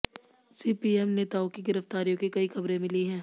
CPM नेताओं की गिरफ्तारियों की कई खबरें मिली हैं